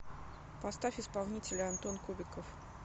поставь исполнителя антон кубиков